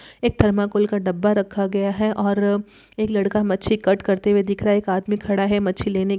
एक थर्माकोल का डब्बा रखा गया है और एक लड़का मच्छी कट करते हुए दिख रहा है एक आदमी खड़ा है मच्छी लेने--